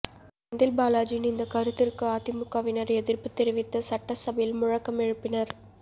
செந்தில்பாலாஜியின் இந்த கருத்திற்கு அதிமுகவினர் எதிர்ப்பு தெரிவித்து சட்டசபையில் முழக்கம் எழுப்பினர்